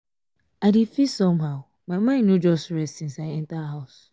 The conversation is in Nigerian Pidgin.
i dey feel somehow my mind no just rest since i enter house